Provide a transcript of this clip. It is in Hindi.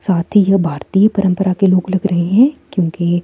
साथ ही ये भारतीय परंपरा के लोग लग रहे हैं क्योंकि--